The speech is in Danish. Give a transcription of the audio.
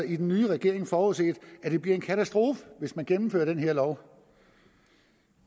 i den nye regering forudset at det bliver en katastrofe hvis man gennemfører den her lov